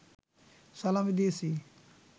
সালামি দিয়েছি